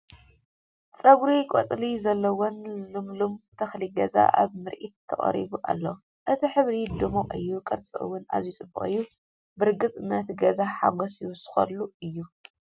ጸጉሪ ቆፅሊ ዘለዎን ልምሉም ተኽሊ ገዛ ኣብ ምርኢት ተቐሪቡ ኣሎ። እቲ ሕብሩ ድሙቕ እዩ፣ ቅርጹ እውን ኣዝዩ ጽቡቕ እዩ፣ ብርግጽ ነቲ ገዛ ሓጐስ ይውስኸሉ እዩ!